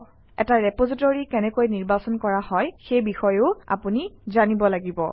এটা ৰেপজিটৰী কেনেকৈ নিৰ্বাচন কৰা হয় সেই বিষয়েও আপুনি জানিব লাগিব